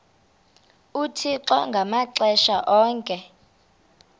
uthixo ngamaxesha onke